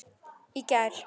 Í gær.